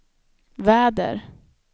väder